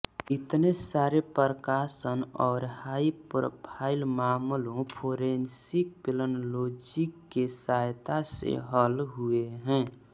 इतने सारे प्रकाशन और हाई प्रोफाइल मामलों फोरेंसिक पेलन्लोजी के सयता से हल हुए हैं